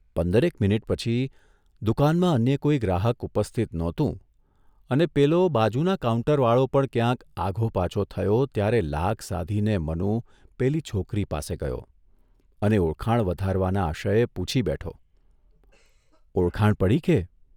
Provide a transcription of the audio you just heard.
પંદરેક minute પછી દુકાનમાં અન્ય કોઇ ગ્રાહક ઉપસ્થિત નહોતું અને પેલો બાજુના કાઉન્ટરવાળો પણ ક્યાંક આઘો પાછો થયો ત્યારે લાગ સાધીને મનુ પેલી છોકરી પાસે ગયો અને ઓળખાણ વધારવાના આશયે પૂછી બેઠોઃ ઓળખાણ પડી કે?